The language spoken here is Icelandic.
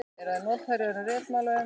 Eru þær notaðar í öðrum ritmálum?